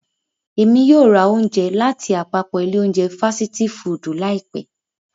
Emi yóò ra ounje latiapapọ ile ounje fasiti fudu laipẹ.